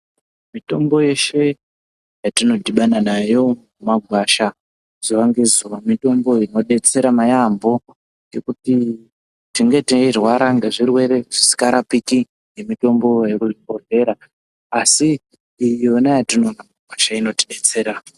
Mitombo yeshe yatinodhibana nayo mumagwasha zuwa ngezuwa mitombo inodetsera yambo, ngekuti tinenge teirwara ngezvirwere zvisikarapiki ngemutombo yekuzvibhedhlera asi iyoyona yatinowanazve inotidetsera .